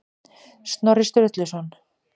Snorri Sturluson.